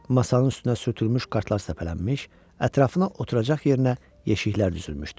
Masanın üstünə sürtülmüş kartlar səpələnmiş, ətrafına oturacaq yerinə yeşiklər düzülmüşdü.